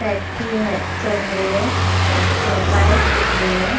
Taxi है चल रही है। एक बाइक दिख री है।